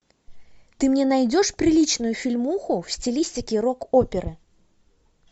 ты мне найдешь приличную фильмуху в стилистике рок оперы